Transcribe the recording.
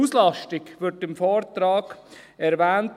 Die Auslastung wird im Vortrag erwähnt.